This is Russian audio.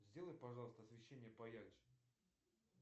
сделай пожалуйста освещение поярче